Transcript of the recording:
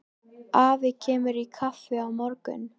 Afi kemur í kaffi á morgun.